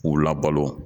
K'u labalo